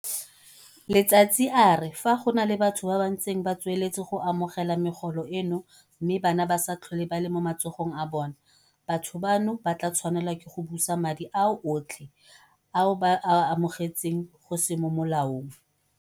Letsatsi a re fa go na le batho ba ba ntseng ba tsweletse go amogela megolo eno mme bana ba se tlhole ba le mo matsogong a bona, batho bano ba tla tshwanela ke go busa madi ao otlhe ao ba a amogetseng go se mo molaong.